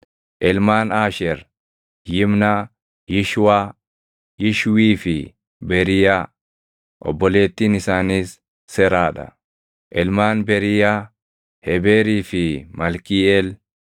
Ilmaan Aasheer: Yimnaa, Yishwaa, Yishwii fi Beriiyaa. Obboleettiin isaaniis Seraa dha. Ilmaan Beriiyaa: Hebeerii fi Malkiiʼeel.